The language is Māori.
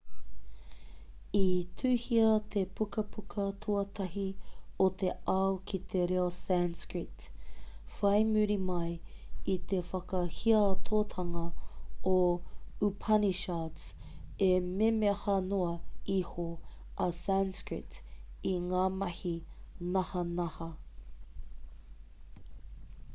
i tuhia te pukapuka tuatahi o te ao ki te reo sanskrit whai muri mai i te whakahiatotanga o upanishards e memeha noa iho a sanskrit i ngā mahi nahanaha